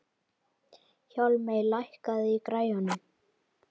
Bæringur, heyrðu í mér eftir fimmtíu mínútur.